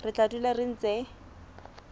re tla dula re ntse